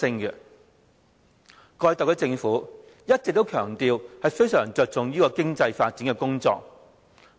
過去特區政府一直強調，非常着重經濟發展工作。